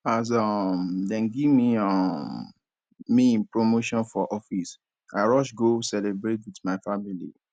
as um dem give um me promotion for office i rush go celebrate wit my family